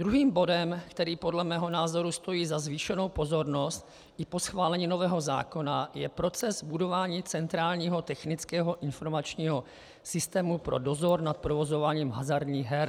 Druhým bodem, který podle mého názoru stojí za zvýšenou pozornost i po schválení nového zákona, je proces budování centrálního technického informačního systému pro dozor nad provozováním hazardních her.